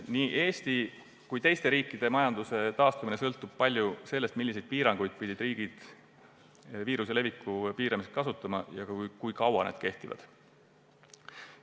Nii Eesti kui ka teiste riikide majanduse taastumine sõltub paljuski sellest, milliseid piiranguid pidid riigid viiruse leviku piiramiseks kasutama ja kui kaua need kehtivad.